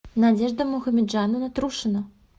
надежда мухамеджанова трушина